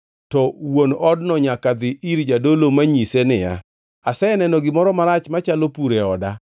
to wuon odno nyaka dhi ir jadolo manyise niya, ‘Aseneno gimoro marach machalo pur e oda.’